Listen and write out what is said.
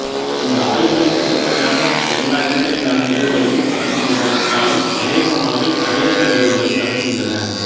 இந்த ஆய்வுகள் பொதுப்படையாக எல்லா இடங்களிலான நிகழ்வுகளையும் அலசுகின்றன என்றாலும் அநேகமானவை அமெரிக்க நிகழ்வுகளை அலசுகின்றன